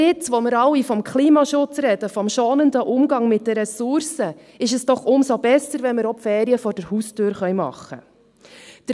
Und gerade jetzt, da wir alle vom Klimaschutz reden, vom schonenden Umgang mit den Ressourcen, ist es doch umso besser, wenn wir auch die Ferien vor der Haustüre machen können.